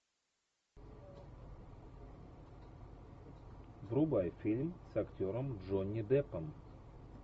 врубай фильм с актером джонни деппом